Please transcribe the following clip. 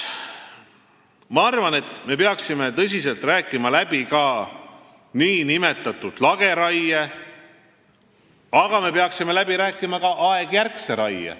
Ma arvan, et me peaksime tõsiselt läbi rääkima nn lageraie, aga me peaksime läbi rääkima ka aegjärkse raie.